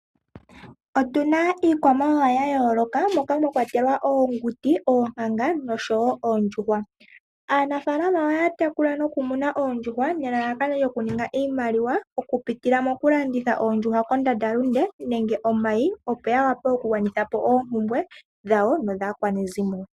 Otuna iikwamawawa ya yoloka moka mwakwatelwa oonguti, oonkanga no shoyo oondjuhwa. Aanafalama ohaya tekula noku muna ondjuhwa nelalakano lyoku ninga iimaliwa oku pitila moku landitha oondjuhwa kondanda lunde nenge omayi opo ya wape oku gwanithapo oopumbwe dhawo nodhaakwanezimo.